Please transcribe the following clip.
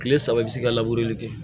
Kile saba i bi se ka kɛ